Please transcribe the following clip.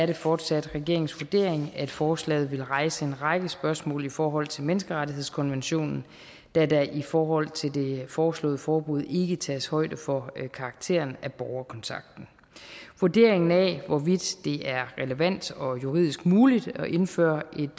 det fortsat regeringens vurdering at forslaget vil rejse en række spørgsmål i forhold til menneskerettighedskonventionen da der i forhold til det foreslåede forbud ikke tages højde for karakteren af borgerkontakten vurderingen af hvorvidt det er relevant og juridisk muligt at indføre et